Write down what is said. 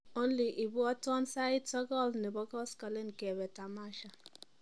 only ibwotin sait sogol nebo koskolen keba tamasha